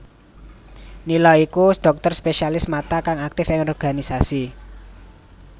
Nila iku dhokter Spesialis Mata kang aktif ing organisasi